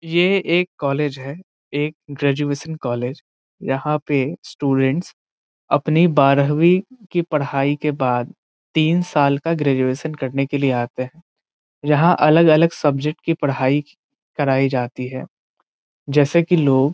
ये एक कॉलेज है एक ग्रेजुएशन कॉलेज यहाँ पे स्टूडेंट्स अपनी बारहवी की पढाई के बाद तीन साल का ग्रेजुएशन करने के लिए आते है यहाँ अलग - अलग सब्जेक्ट की पढाई कराइ जाती है जैसे की --